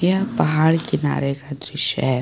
यह पहाड़ किनारे का दृश्य है।